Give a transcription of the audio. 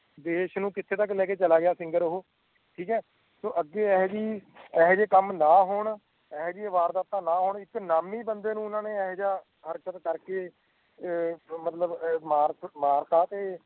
ਦੇਸ ਨੂੰ ਕਿੱਥੋਂ ਤੱਕ ਲੈ ਗਿਆ ਸਿੰਗਾਰ ਉਹੋ ਠੀਕ ਹੈ ਸੋ ਅੱਗੇ ਇਹੋ ਜੇ ਕੰਮ ਨਾ ਹੋਣ ਇਹੋ ਜਹੀਆਂ ਵਾਰਦਾਤਾਂ ਨਾ ਹੋਣ ਜਿਥ ਨਾਮੀ ਬੰਦੇ ਨੂੰ ਇਹੋ ਜਿਆਂ ਹਰਕਤ ਕਰਕੇ ਮਤਲੱਬ ਮਰਤਾ ਤੇ